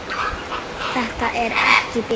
Þetta er ekki bið.